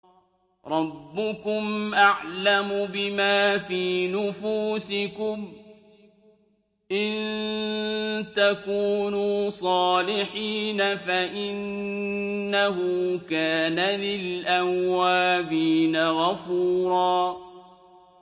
رَّبُّكُمْ أَعْلَمُ بِمَا فِي نُفُوسِكُمْ ۚ إِن تَكُونُوا صَالِحِينَ فَإِنَّهُ كَانَ لِلْأَوَّابِينَ غَفُورًا